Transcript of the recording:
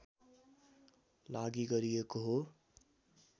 लागि गरिएको हो